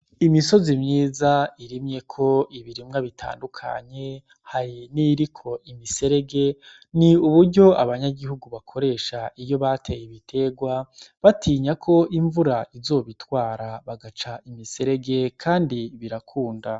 Imisozi myiza irimyeko ibirimwa bitandukanye hari n' iyiriko imiserege ni uburyo abanyagihugu bakoresha iyo bateye ibitegwa batinya ko imvura izobitwara bagaca imiserege kandi birakunda.